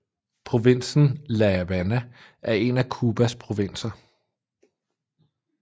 Provinsen La Habana er en af Cubas provinser